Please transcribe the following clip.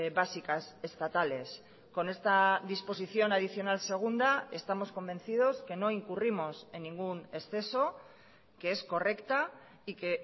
básicas estatales con esta disposición adicional segunda estamos convencidos que no incurrimos en ningún exceso que es correcta y que